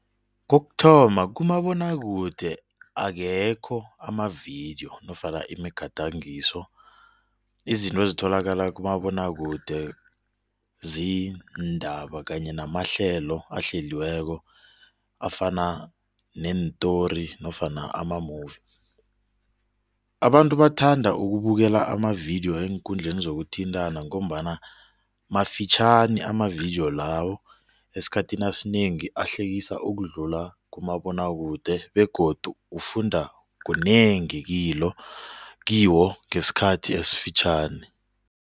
Kokuthoma kumabonwakude akekho amavidiyo nofana imigadangiso izinto ezitholakala kumabonwakude ziindaba kanye namahlelo ahleliweko afana neentori nofana ama movie. Abantu bathanda ukubukela amavidiyo eenkundleni zokuthintana ngombana mafitjhani amavidiyo lawo esikhathini esinengi ahlekisa ukudlula kumabonwakude begodu ufunda kunengi kiwo ngesikhathi esifitjhani.